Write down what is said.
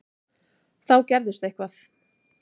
Þá gerðist eitthvað.